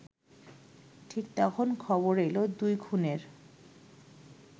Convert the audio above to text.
ঠিক তখন খবর এলো দুই খুনের